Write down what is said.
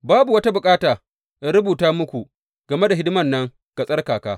Babu wata bukata in rubuta muku game da hidiman nan ga tsarkaka.